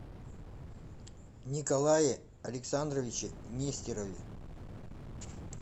николае александровиче нестерове